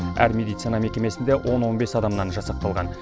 әр медицина мекемесінде он он бес адамнан жасақталған